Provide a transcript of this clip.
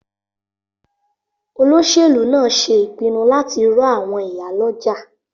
Olóṣèlú náà ṣe ìpinnu láti ro àwọn ìyálọ́jà